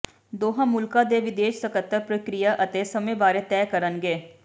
ਦੋਹਾਂ ਮੁਲਕਾਂ ਦੇ ਵਿਦੇਸ਼ ਸਕੱਤਰ ਪ੍ਰਕਿਰਿਆ ਅਤੇ ਸਮੇਂ ਬਾਰੇ ਤੈਅ ਕਰਨਗੇ